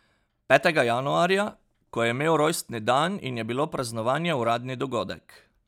Petega januarja, ko je imel rojstni dan in je bilo praznovanje uradni dogodek.